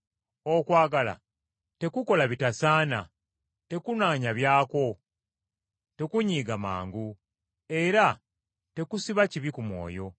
Okwagala tekukola bitasaana, tekunoonya byakwo, tekunyiiga mangu, era tekusiba kibi ku mwoyo.